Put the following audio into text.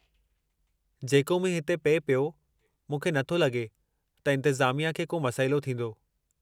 जेका मींहुं हिते पिए पियो, मूंखे नथो लॻे त इंतेज़ामिया खे को मसइलो थींदो।